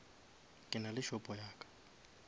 ke nale shopo ya ka